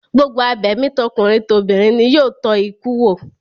Gbogbo abẹ̀mí tọkùnrin tobìnrin ni yóò tọ́ ikú wò